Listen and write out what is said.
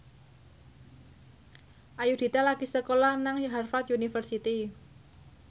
Ayudhita lagi sekolah nang Harvard university